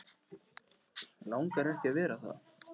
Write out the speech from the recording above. Langar ekki að vera það.